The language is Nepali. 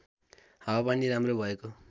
हावापानी राम्रो भएको